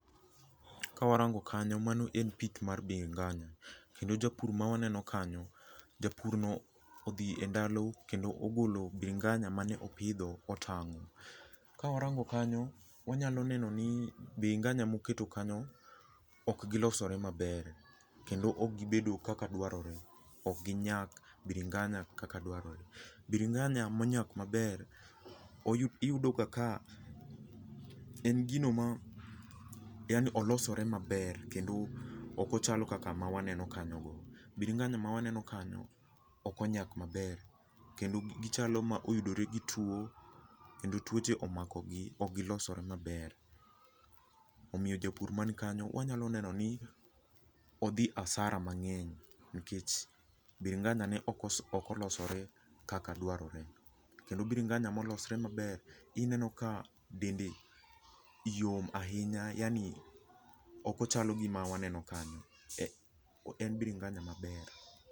Ka warango kanyo mano en pith mar bringanya kendo jopur mawaneno kanyo, japur no odhi e ndalo kendo ogolo cs]bringanya mane opidho otango. Ka warango kanyo, wanya neno ni cs]bringanya moketo kanyo ok gilosore maber kendo ok gibedo kaka dwarore, ok ginyak cs]bringanya kaka dwarore. cs]bringanya monyak maber iyudo ka en gino ma yaani olosore maber kendo ok ochalo kaka ma waneno kanyo go. cs]bringanya ma waneno kanyo ok onyak maber kendo gichalo ma oyuore gi tuo kendo tuoche omakogi ok gilosore maber. Omiyo japur man kanyo wanyalo neno ni odhi asara mangeny nikech cs]bringanya ne oko ok olosore kaka dwarore. Kendo cs]bringanya molosre maber ineno ka dende yom ahinya, yaani ok ochalo gi ma waneno ka ni, en cs]bringanya maber.